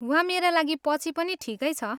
वा मेरा लागि पछि पनि ठिकै छ।